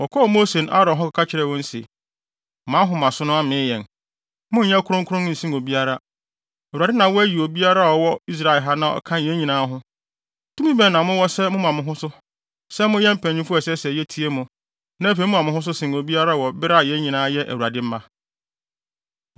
Wɔkɔɔ Mose ne Aaron hɔ kɔka kyerɛɛ wɔn se, “Mo ahomaso no amee yɛn; monnyɛ kronkron nsen obiara. Awurade na wayi obiara a ɔwɔ Israel ha na ɔka yɛn nyinaa ho. Tumi bɛn na mowɔ sɛ moma mo ho so sɛ moyɛ mpanyimfo a ɛsɛ sɛ yetie mo na afei moma mo ho so sen obiara wɔ bere a yɛn nyinaa yɛ Awurade mma?”